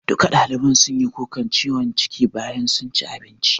Duka ɗaliban sunyi kukan ciwon ciki bayan sun ci abincin